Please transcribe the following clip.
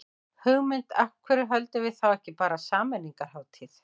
Hugmynd, af hverju höldum við þá ekki bara sameiningarhátíð.